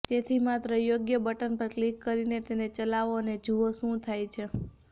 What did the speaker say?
તેથી માત્ર યોગ્ય બટન પર ક્લિક કરીને તેને ચલાવો અને જુઓ શું થાય છે